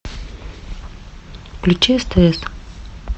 включи стс